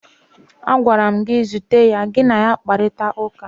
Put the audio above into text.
Agwara m gị, zute ya, gị na ya kparịtara ụka!